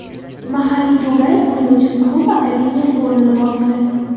Mahalliy to‘garak uning uchun klub akademiyasi o‘rnini bosdi.